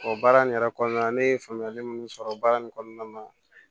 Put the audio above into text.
O baara nin yɛrɛ kɔnɔna na ne ye faamuyali mun sɔrɔ baara in kɔnɔna na